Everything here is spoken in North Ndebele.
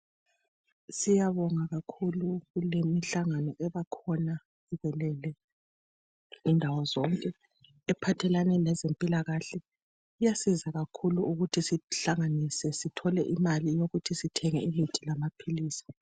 Siyabonga kakhulu kulemihlangano ebakhona ivelele indawo zonke ephathelane lezempilakahle. Iyasiza kakhulu ukuthi sihlanganise sithole imali yokuthenga imithi lamaphilisi.